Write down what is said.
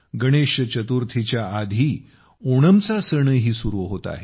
गणेश चतुर्थीच्या आधी ओणमचा सणही सुरू होत आहे